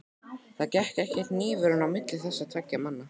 Það gekk ekki hnífurinn á milli þessara tveggja manna.